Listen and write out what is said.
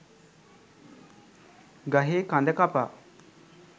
ගහේ කඳ කපා